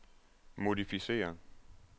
modificér